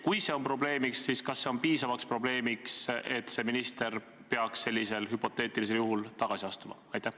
Kui see on probleem, siis kas see on piisav probleem, et see minister peaks sellisel hüpoteetilisel juhul tagasi astuma?